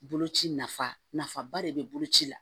Boloci nafa nafaba de bɛ bolo ci la